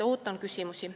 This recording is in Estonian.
Ootan teie küsimusi.